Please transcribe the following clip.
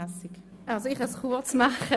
Ich kann mich kurz fassen.